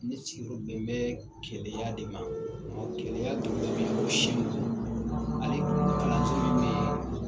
Ne sigiyɔrɔ bɛn bɛ keleya de ma keleya dugu